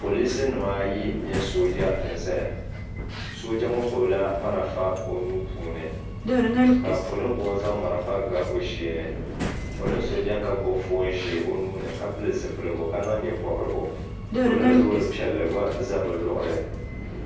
Polinsi nim ayi mini sooja n ʒɛya. Sooja ŋɔ gbubila marafa o nuuni ka polingu zaŋ marafa n ga l sheeni. Polin so ʒɛya ka gbubi foon ʒee o nuuni ka pili zipilgu ka niŋ nye pobirigu. Polin loori pielli gba ʒɛ bɛ luɣili